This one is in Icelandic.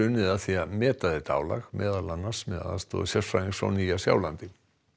unnið að því að meta þetta álag meðal annars með aðstoð sérfræðings frá Nýja Sjálandi